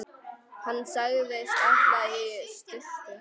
Hann sagðist ætla í sturtu.